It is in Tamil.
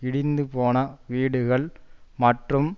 இடிந்துபோன வீடுகள் மற்றும்